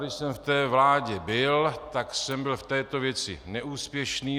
Když jsem v té vládě byl, tak jsem byl v této věci neúspěšný.